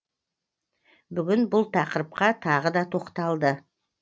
бүгін бұл тақырыпқа тағы да тоқталды